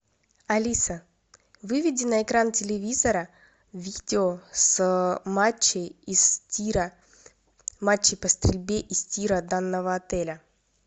алиса выведи на экран телевизора видео с матчей из тира матчей по стрельбе из тира данного отеля